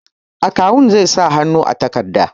Akawun zai sa hannu a takardar.